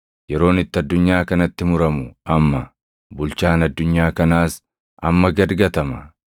Yeroon itti addunyaa kanatti muramu amma; bulchaan addunyaa kanaas amma gad gatama.